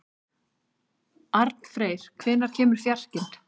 Arnfreyr, hvenær kemur fjarkinn?